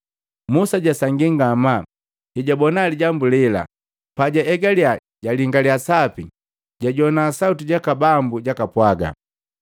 Musa jasangii ngamaa hejabona lijambu lela, pajaegalya jalingalya sapi jajowa sauti jaka Bambu jakapwaga,